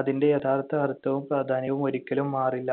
അതിന്‍റെ യഥാർത്ഥ അർത്ഥവും പ്രാധാന്യവും ഒരിക്കലും മാറില്ല.